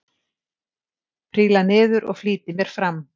Príla niður og flýti mér fram.